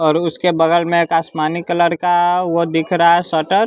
और उसके बगल में एक आसमानी कलर का आ वो दिख रहा है शटर ।